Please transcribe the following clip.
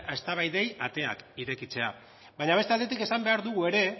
eztabaidei ateak irekitzea baina beste aldetik esan behar dugu ere